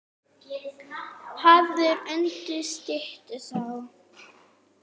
Hafður undir styttu sá.